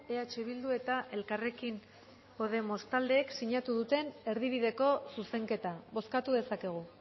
eh bildu eta elkarrekin podemos taldeek sinatu duten erdibideko zuzenketa bozkatu dezakegu